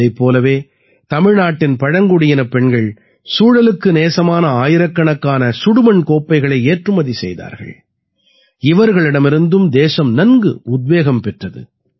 இதைப் போலவே தமிழ்நாட்டின் பழங்குடியினப் பெண்கள் சூழலுக்கு நேசமான ஆயிரக்கணக்கான சுடுமண் கோப்பைகளை ஏற்றுமதி செய்தார்கள் இவர்களிடமிருந்தும் தேசம் நன்கு உத்வேகம் பெற்றது